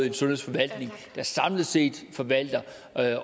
en sundhedsforvaltning der samlet set forvalter